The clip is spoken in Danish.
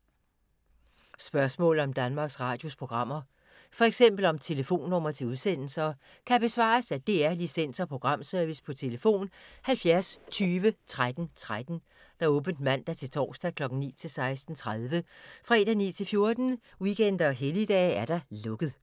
Spørgsmål om Danmarks Radios programmer, f.eks. om telefonnumre til udsendelser, kan besvares af DR Licens- og Programservice: tlf. 70 20 13 13, åbent mandag-torsdag 9.00-16.30, fredag 9.00-14.00, weekender og helligdage: lukket.